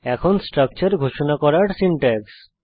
এখন স্ট্রাকচার ঘোষণা করার সিনট্যাক্স